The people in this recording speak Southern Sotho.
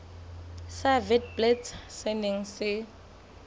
sa witblits se neng se